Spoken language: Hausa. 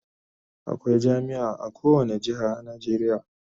Akwai jami'a a kowane jihar a Najeriya